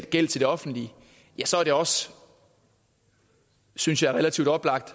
gæld til det offentlige så er det også synes jeg relativt oplagt